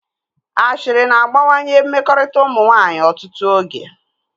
Ashịrị na-agbawanye mmekọrịta ụmụ nwaanyị ọtụtụ oge